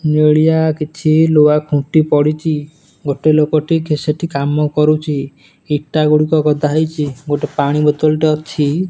ନେଳିଆ କିଛି ଲୁହା ଖୁଣ୍ଟି ପଡ଼ିଚି। ଗୋଟେ ଲୋକଟି ସେଠି କାମ କରୁଚି। ଇଟା ଗୁଡ଼ିକ ଗଦା ହେଇଚି। ଗୋଟେ ପାଣି ବୋତଲ ଟେ ଅଛି।